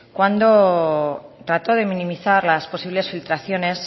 cuando trató de minimizar las posibles filtraciones